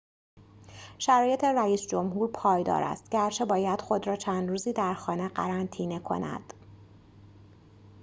شرایط رئیس‌جمهور پایدار است گرچه باید خود را چند روزی در خانه قرنطینه کند